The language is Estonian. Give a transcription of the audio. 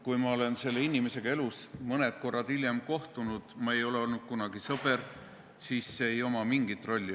Kui ma olen selle inimesega elus hiljem vaid mõne korra kohtunud ja ma ei ole kunagi olnud tema sõber, siis sel ei ole mingit rolli.